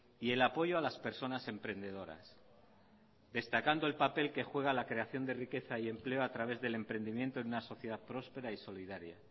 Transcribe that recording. y el apoyo a las personas emprendedoras destacando el papel que juega la creación de riqueza y empleo a través del emprendimiento en una sociedad próspera y solidaria